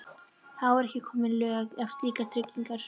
Þá voru ekki komin lög um slíkar tryggingar.